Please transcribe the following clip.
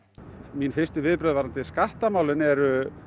mín fyrstu viðbrögð varðandi skattamálin eru